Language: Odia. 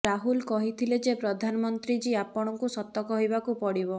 ରାହୁଲ କହିଥିଲେ ଯେ ପ୍ରଧାନମନ୍ତ୍ରୀ ଜୀ ଆପଣଙ୍କୁ ସତ କହିବାକୁ ପଡିବ